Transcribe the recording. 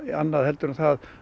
annað heldur en það